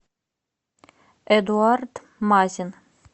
эдуард мазин